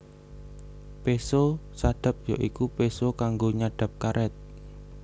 Péso sadap ya iku péso kanggo nyadhap karét